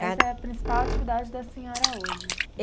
Essa é a principal atividade da senhora hoje.